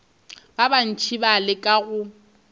ba bantši ba leka go